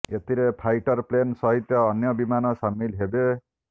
ଏଥିରେ fighter plane ସହିତ ଅନ୍ୟ ବିମାନ ସାମିଲ ହେବେ